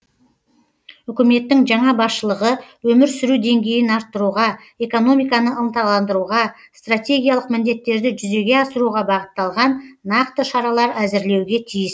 үкіметтің жаңа басшылығы өмір сүру деңгейін арттыруға экономиканы ынталандыруға стратегиялық міндеттерді жүзеге асыруға бағытталған нақты шаралар әзірлеуге тиіс